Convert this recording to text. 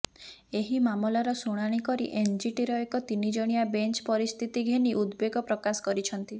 ଏହି ମାମଲାର ଶୁଣାଣି କରି ଏନ୍ଜିଟିର ଏକ ତିନିଜଣିଆ ବେଞ୍ଚ ପରିସ୍ଥିତି ଘେନି ଉଦବେଗ ପ୍ରକାଶ କରିଛନ୍ତି